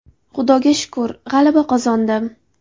Xudoga shukr, g‘alaba qozondim.